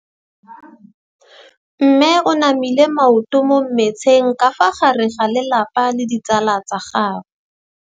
Mme o namile maoto mo mmetseng ka fa gare ga lelapa le ditsala tsa gagwe.